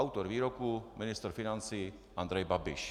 Autor výroku ministr financí Andrej Babiš.